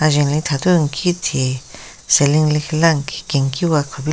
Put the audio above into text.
Jhen li thathu nkhithe ceiling lekhila nnki kenkiwa kupila--